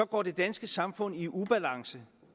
går det danske samfund i ubalance